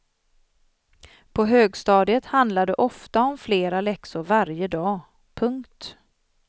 På högstadiet handlar det ofta om flera läxor varje dag. punkt